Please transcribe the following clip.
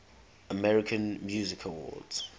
american music awards